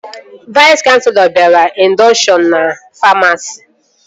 Vais kanselọ bịara indọkshọn ndị famasi